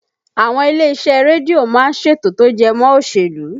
Àwọn ilé iṣẹ́ rédíò má ń ṣètò tó jẹ mọ́ òṣèlú